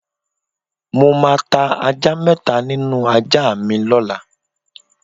Mo máa ta ajá mé̩ta nínú ajá mi ló̩la.